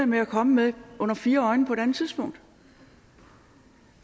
med at komme med under fire øjne på et andet tidspunkt